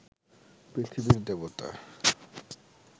পৃথিবীর দেবতা